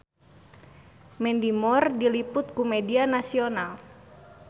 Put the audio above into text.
Mandy Moore diliput ku media nasional